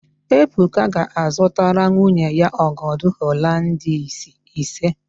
Ebuka ga-azụtara nwunye ya ọgọdọ Holandis ise.